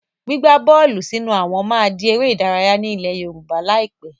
Gbígba bọ́ọ́lù sínú àwọn máa di ère ìdárayá ni ilẹ̀ Yorùbá lai pẹ̀.